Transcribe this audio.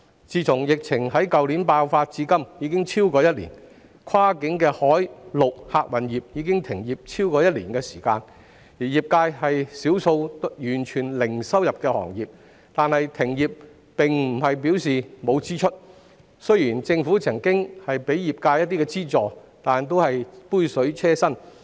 疫情於去年爆發至今已超過一年，跨境海、陸客運業已停業超過一年，而業界是少數完全零收入的行業，但停業並不代表沒有開支，雖然政府曾向業界提供一些資助，但只是杯水車薪。